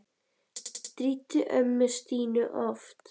Hann stríddi ömmu Stínu oft.